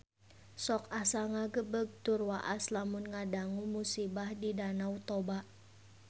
Sok asa ngagebeg tur waas lamun ngadangu musibah di Danau Toba